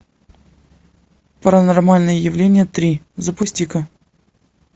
паранормальное явление три запусти ка